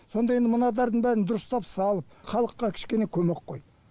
сонда енді мынадардың бәрін дұрыстап салып халыққа кішкене көмек қой